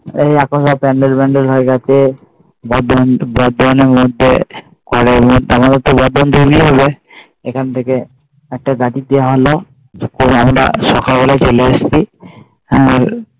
প্যান্ডেল ম্যান্ডেলা হয় গিয়েছে বর্ধমানের মধ্যে এখন থেকে একটা বাড়িতে আনলো আমরা সকাবেলা চলে এসেছি তারপর